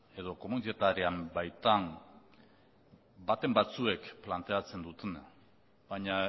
edo komunitate arean baitan baten batzuek planteatzen dutena baina